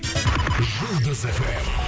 жұлдыз фм